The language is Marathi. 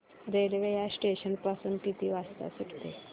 रेल्वे या स्टेशन पासून किती वाजता सुटते